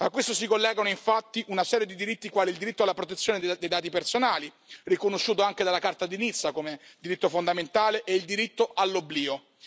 A questo si collegano, infatti, una serie di diritti, quali il diritto alla protezione dei dati personali, riconosciuto anche dalla Carta di Nizza come diritto fondamentale e il diritto all'oblio.